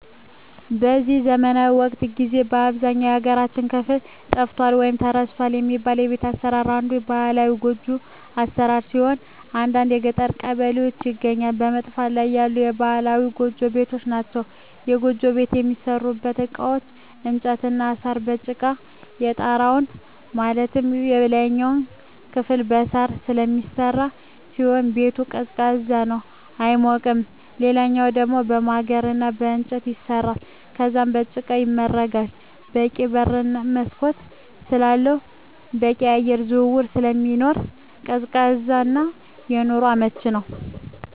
በዚህ ዘመናዊ ወቅት ጊዜ በአብዛኛው የሀገራችን ክፍል ጠፍቷል ወይም ተረስቷል የሚባለው የቤት አሰራር አንዱ ባህላዊ ጎጆ ቤት አሰራር ሲሆን በአንዳንድ የገጠር ቀበሌዎች ይገኛሉ በመጥፋት ላይ ያሉ ባህላዊ ጎጆ ቤቶች ናቸዉ። የጎጆ ቤት የሚሠሩበት እቃዎች በእንጨት እና በሳር፣ በጭቃ ነው። የጣራው ማለትም የላይኛው ክፍል በሳር ስለሚሰራ ሲሆን ቤቱ ቀዝቃዛ ነው አይሞቅም ሌላኛው ደሞ በማገር እና በእንጨት ይሰራል ከዛም በጭቃ ይመረጋል በቂ በር እና መስኮት ስላለው በቂ የአየር ዝውውር ስለሚኖር ቀዝቃዛ እና ለኑሮ አመቺ ነው።